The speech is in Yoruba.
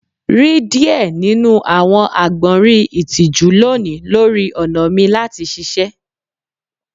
Ri diẹ ninu awọn agbọnrin itiju loni lori ọna mi lati ṣiṣẹ